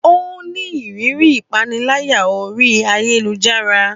Ó ní ìrírí ìpániláyà orí ayélujára